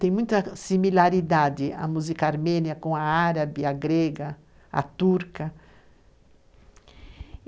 Tem muita similaridade a música armênia com a árabe, a grega, a turca.